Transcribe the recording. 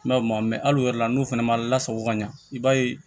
Mɛ o ma hali o yɛrɛ la n'o fana ma lasago ka ɲa i b'a ye